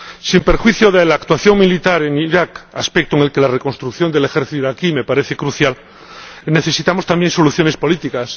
Sin perjuicio de la actuación militar en Irak, aspecto en el que la reconstrucción del ejército iraquí me parece crucial, necesitamos también soluciones políticas.